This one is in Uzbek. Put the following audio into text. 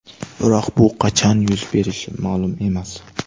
Biroq bu qachon yuz berishi ma’lum emas.